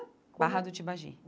Barra do Tibagi.